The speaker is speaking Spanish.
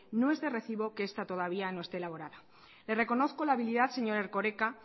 no es de recibo que esta todavía no este elaborada le reconozco la habilidad señor erkoreka